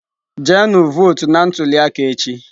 Jenu votu na ntuli aka echi!.